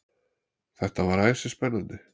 Þetta var æsispennandi.